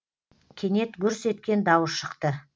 кенет гүрс еткен дауыс шықты